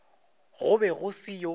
go be go se yo